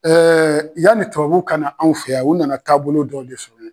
yanni tubabuw ka na anw fɛ yan u nana taabolo dɔ de sɔrɔ.